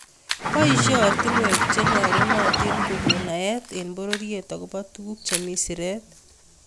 Boisie ortinwek che nyolunotin kogon naet eng bororiet agobo tuguk che mi siret